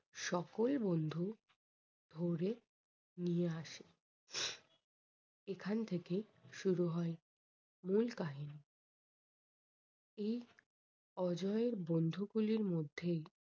সকল বন্ধু ধরে নিয়ে আসে এখান থেকে শুরু হয় মূল কাহিনী। এই অজয় এর বন্ধু গুলির মধ্যেই